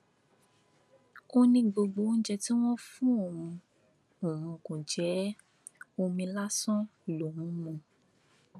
ó ní gbogbo oúnjẹ tí wọn fún òun òun kò jẹ ẹ omi lásán lòún ń mu